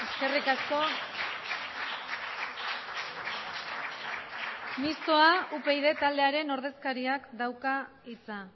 eskerrik asko mistoa upyd taldearen ordezkariak dauka hitza